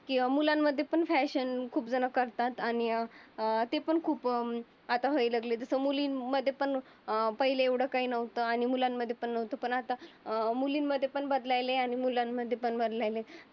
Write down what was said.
मुलांमध्ये पण फॅशन खूप जण करतात आणि अं ती पण खूप आता व्हायला लागले. पण मुलींमध्ये पण अं पहिले एवढं काही नव्हतं आणि मुलांमध्ये पण नव्हतं आता